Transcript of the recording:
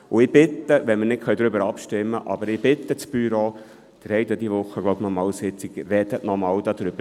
Wir können zwar nicht darüber abstimmen, aber ich bitte das Büro – ich glaube, Sie haben diese Woche noch eine Sitzung: Sprechen Sie nochmals darüber.